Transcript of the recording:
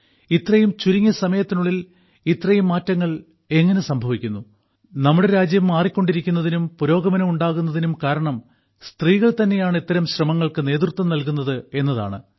ഇത്രയും ചുരുങ്ങിയ സമയത്തിനുള്ളിൽ ഇത്രയും മാറ്റങ്ങൾ എങ്ങനെ സംഭവിക്കുന്നു നമ്മുടെ രാജ്യം മാറിക്കൊണ്ടിരിക്കുന്നതിനും പുരോഗമനം ഉണ്ടാകുന്നതിനും കാരണം സ്ത്രീകൾ തന്നെയാണ് ഇത്തരം ശ്രമങ്ങൾക്ക് നേതൃത്വം നൽകുന്നത് എന്നതാണ്